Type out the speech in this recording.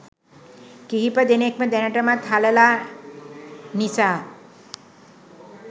කිහිපදෙනෙක්ම දැනටමත් හලලා නිසා.